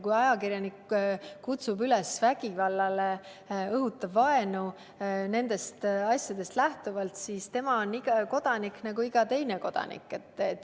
Kui ajakirjanik kutsub üles vägivallale, õhutab vaenu nendest asjaoludest lähtuvalt, siis tema on samamoodi kodanik nagu iga teine kodanik.